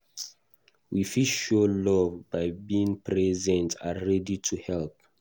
we fit show love by being present and ready to help